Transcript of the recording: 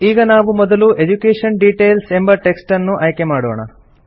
ಈಗ ನಾವು ಮೊದಲು ಎಡ್ಯುಕೇಷನ್ ಡಿಟೇಲ್ಸ್ ಎಂಬ ಟೆಕ್ಸ್ಟ್ ಅನ್ನು ಆಯ್ಕೆ ಮಾಡೋಣ